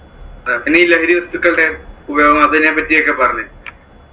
പിന്നെ ഈ ലഹരിവസ്തുക്കളുടെ ഉപയോഗം അതിനെ പറ്റിയൊക്കെ പറഞ്ഞു.